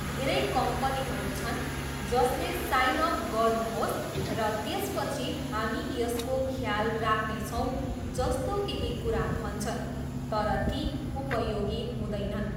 धेरै कम्पनीहरू छन् जसले 'साइन अप गर्नुहोस्, र त्यसपछि हामी यसको ख्याल राख्नेछौँ' जस्तो केही कुरा भन्छन् तर ती उपयोगी हुँदैनन्।